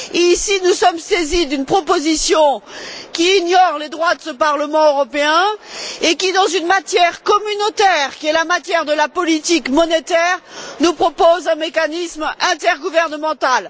Ici, nous sommes saisis d'une proposition qui ignore les droits de ce Parlement européen et qui, dans une matière communautaire qui est la matière de la politique monétaire, nous propose un mécanisme intergouvernemental.